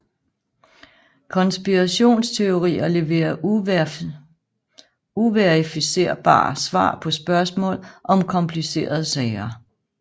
Konspirationsteorier leverer uverificerbare svar på spørgsmål om komplicerede sager